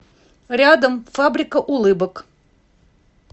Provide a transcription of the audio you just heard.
рядом фабрика улыбок